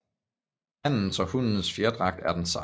Hannens og hunnens fjerdragt er den samme